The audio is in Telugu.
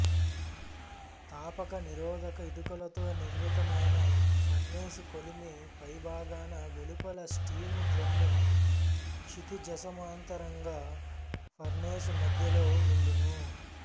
తాపక నిరోధక ఇటుకలతో నిర్మితమైన ఫర్నేసుకొలిమి పైభాగాన వెలుపల స్టీము డ్రమ్ము క్షితిజసమాంతరంగా ఫర్నేసు మధ్యలో వుండును